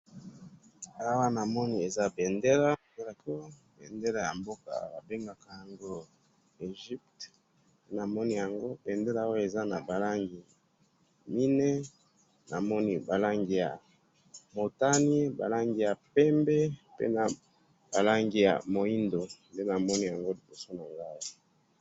Awa namoni eza bendela drapo bendela ya mboka ba bengaka yango EGYPTE namoni yango bendela oyo eza naba langi mine namoni ba langi ya motani ba langi ya pembe pe naba langi ya mwindu nde namoni liboso na ngayi awa .